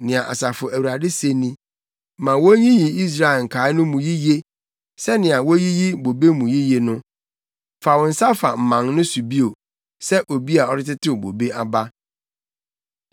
Nea Asafo Awurade se ni: “Ma wonyiyi Israel nkae no mu yiye sɛnea woyiyi bobe mu yiye no; fa wo nsa fa mman no so bio, sɛ obi a ɔretetew bobe aba.”